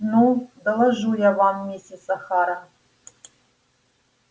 ну доложу я вам миссис охара